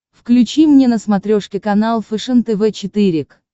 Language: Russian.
включи мне на смотрешке канал фэшен тв четыре к